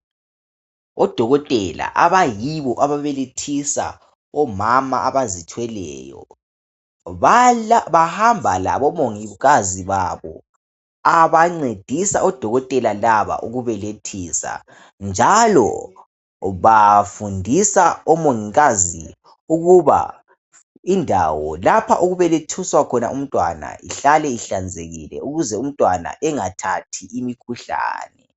Odokotela abayibo ababelethisa omama abazithweleyo bahamba labomongikazi babo abancedisa odokotela laba ukubelethisa njalo bafundisa omongikazi ukuba indawo lapho okubelethiswa khona umntwana ihlale ihlanzekile ukuze umntwana engathathi imikhuhlane